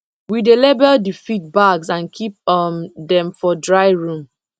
we dey label the feed bags and keep um dem for dry room